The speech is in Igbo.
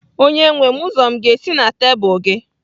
Onyenwe m ụzọ m ga-esi na tebụl gị?